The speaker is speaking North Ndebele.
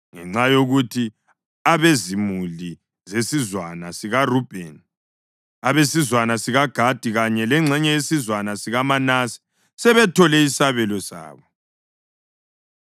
ngenxa yokuthi abezimuli zesizwana sikaRubheni, abesizwana sikaGadi kanye lengxenye yesizwana sikaManase sebethole isabelo sabo.